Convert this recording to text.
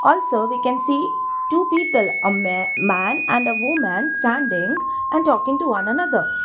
also we can see two people a me man and a woman standing and talking to one another.